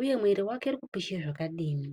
uyu mwiri wake ukupisha zvakadii.